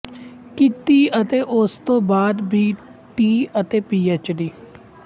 ਕੀਤੀ ਅਤੇ ਉਸ ਤੋਂ ਬਾਅਦ ਬੀ ਟੀ ਅਤੇ ਪੀਐੱਚ